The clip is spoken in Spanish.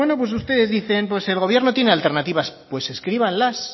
pues ustedes dicen el gobierno tiene alternativas pues